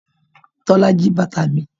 Tola ji bàtà mi.